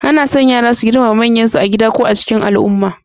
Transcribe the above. Ana son yara su girmama manyansu a gida ko a cikin al'umma.